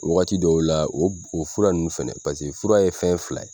O wagati dɔw la o o fura ninnu fɛnɛ paseke fura ye fɛn fila ye,